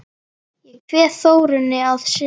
Ég kveð Þórunni að sinni.